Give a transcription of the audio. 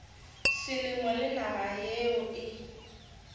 selemo le naga yeo e